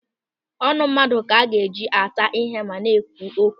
Ọnụ mmadụ ka a ga-eji ata ihe ma na-ekwu okwu.